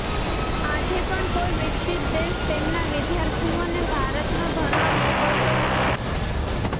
આજે પણ કોઈ વિકસિત દેશ તેમના વિદ્યાર્થીઓને ભારતમાં ભણવા મોકલતો નથી